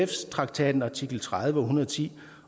traktatens artikel tredive og hundrede og ti